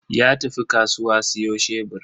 Ya tafi kasuwa siyo shebur.